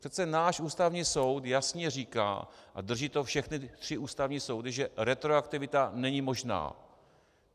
Přece náš Ústavní soud jasně říká - a drží to všechny tři ústavní soudy - že retroaktivita není možná.